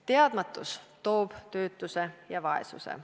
Teadmatus toob töötuse ja vaesuse.